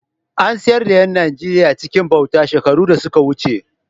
An sayar da ’yan Najeriya cikin bauta shekaru da suka wuce.